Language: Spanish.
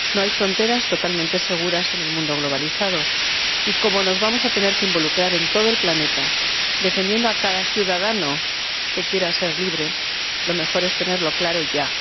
No hay fronteras totalmente seguras en el mundo globalizado y, como nos vamos a tener que involucrar en todo el planeta defendiendo a cada ciudadano que quiera ser libre, lo mejor es tenerlo claro ya.